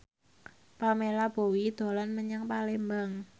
Pamela Bowie dolan menyang Palembang